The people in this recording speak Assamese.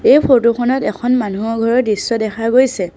এই ফটো খনত এখন মানুহৰ ঘৰৰ দৃশ্য দেখা গৈছে।